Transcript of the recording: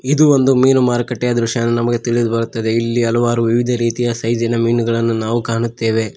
ಇದು ಒಂದು ಮೀನು ಮಾರುಕಟ್ಟೆಯ ದೃಶ್ಯ ಎಂದು ತಿಳಿದು ಬರುತ್ತದೆ ಇಲ್ಲಿ ಹಲವಾರು ವಿವಿಧ ರೀತಿಯ ಸೈಜಿನ ಮೀನುಗಳನ್ನು ನಾವು ಕಾಣುತ್ತೇವೆ.